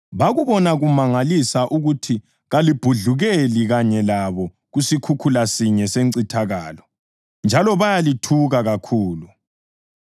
Bakubona kumangalisa ukuthi kalibhudlukeli kanye labo kusikhukhula sinye sencithakalo, njalo bayalithuka kakhulu.